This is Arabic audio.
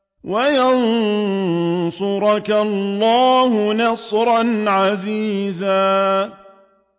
وَيَنصُرَكَ اللَّهُ نَصْرًا عَزِيزًا